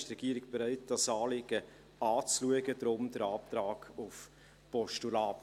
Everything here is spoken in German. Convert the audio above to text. Die Regierung ist bereit, dieses Anliegen anzuschauen, darum der Antrag auf Postulat.